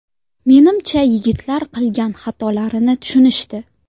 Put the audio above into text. Menimcha yigitlar qilgan xatolarini tushunishdi.